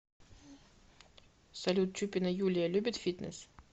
салют чупина юлия любит фитнес